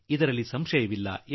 ಇದರಲ್ಲಿ ಯಾವುದೇ ಸಂಶಯವಿಲ್ಲ